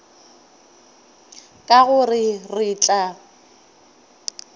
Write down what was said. ka go re re tla